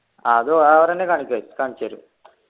അതു അവറെന്നെ കാണിചെരു കാണിച്ചു തരും